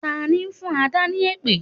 Tani ń fún Adà ni èpè?